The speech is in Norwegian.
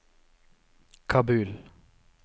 Kabul